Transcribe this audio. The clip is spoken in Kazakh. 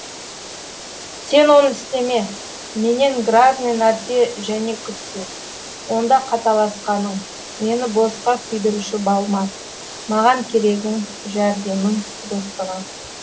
сен оны істеме менен грязный нәрсе және күтпе онда қаталасқаның мені босқа күйдіруші балма маған керегің жәрдемің достығың